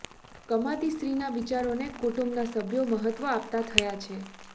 કમાતી સ્ત્રીના વિચારોને કુટુંબના સભ્યો મહત્વ આપતા થયા છે